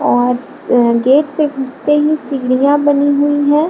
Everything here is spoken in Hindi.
और स गेट से घुसते ही सीढ़िया बनी हुई है।